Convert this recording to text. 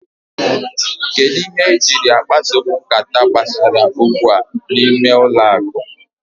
Kedụ ihe i jiri akpaso m nkata gbasara okwu a n'ime ụlọ ụka?